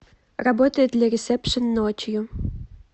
работает ли ресепшен ночью